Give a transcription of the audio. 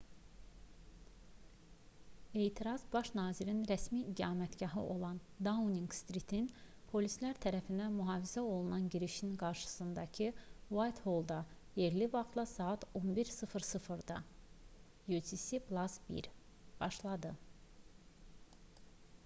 etiraz baş nazirin rəsmi iqamətgahı olan dauninq-stritin polislər tərəfindən mühafizə olunan girişinin qarşısındakı uaytholda yerli vaxtla saat 11:00-da utc+1 başladı